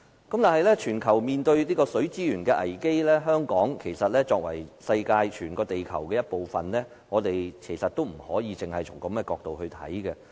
當全球均面對水資源危機，香港作為全球的其中一個城市，我們不能只從這角度看事情。